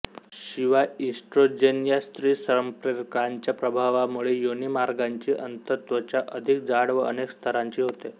शिवाय ईस्ट्रोजेन या स्त्रीसंप्रेरकांच्या प्रभावामुळे योनीमार्गाची अंतत्वचा अधिक जाड व अनेक स्तरांची होते